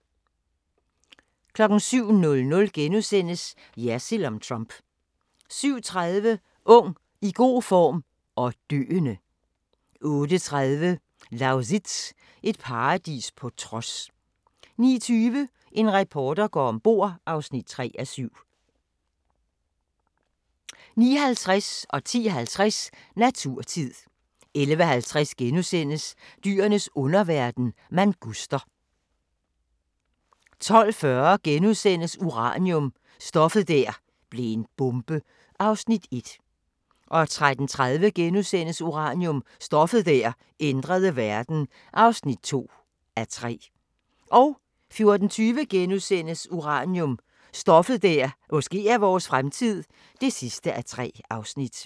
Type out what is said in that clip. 07:00: Jersild om Trump * 07:30: Ung, i god form – og døende! 08:30: Lausitz – et paradis på trods 09:20: En reporter går om bord (3:7) 09:50: Naturtid 10:50: Naturtid 11:50: Dyrenes underverden – manguster * 12:40: Uranium – stoffet der blev en bombe (1:3)* 13:30: Uranium – stoffet der ændrede verden (2:3)* 14:20: Uranium – stoffet der måske er vores fremtid (3:3)*